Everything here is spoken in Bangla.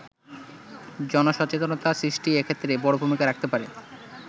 জনসচেতনতা সৃষ্টি এক্ষেত্রে বড় ভূমিকা রাখতে পারে।